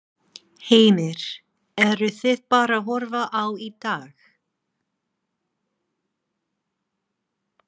Heimir: Eruð þið bara að horfa á í dag?